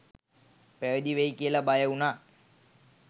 පැවිදි වෙයි කියලා බය වුණා